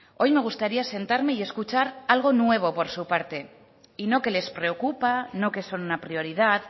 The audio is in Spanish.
hoy me gustaría sentarme y escuchar algo nuevo por su parte y no que les preocupa no que son una prioridad